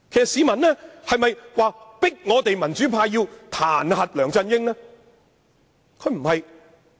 市民有否逼迫民主派彈劾梁振英？